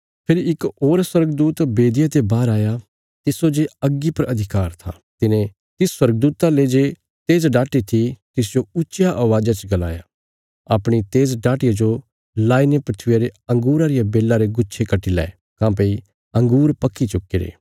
फेरी इक होर स्वर्गदूत बेदिया ते बाहर आया तिस्सो जे अग्गी पर अधिकार था तिने तिस स्वर्गदूता ले जे तेज़ डाटी थी तिसजो ऊच्चिया अवाज़ा च गलाया अपणी तेज डाटिया जो लाईने धरतिया रे अंगूरां रिया बेल्ला रे गुच्छे कट्टी लै काँह्भई अँगूर पक्की चुक्कीरे